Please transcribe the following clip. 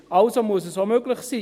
Also muss es möglich sein.